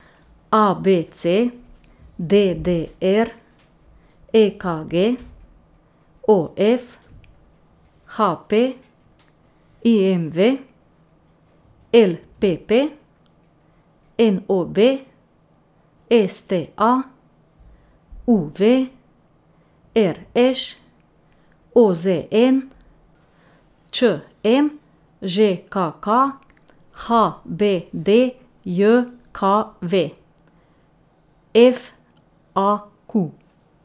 A B C; D D R; E K G; O F; H P; I M V; L P P; N O B; S T A; U V; R Š; O Z N; Č M; Ž K K; H B D J K V; F A Q.